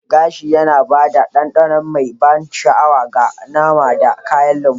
Gashi yana ba da ɗanɗanon mai ban sha'awa ga nama da kayan lambu.